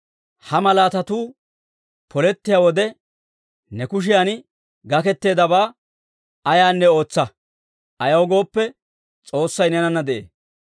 Ha malaatatuu polettiyaa wode, ne kushiyan gakketteedabaa ayaanne ootsa; ayaw gooppe, S'oossay neenana de'ee.